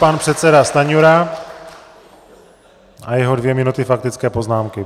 Pan předseda Stanjura a jeho dvě minuty faktické poznámky.